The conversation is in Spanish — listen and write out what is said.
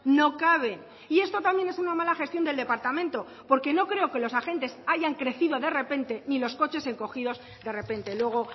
no caben y esto también es una mala gestión del departamento porque no creo que los agentes hayan crecido de repente ni los coches encogidos de repente luego